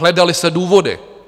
Hledaly se důvody.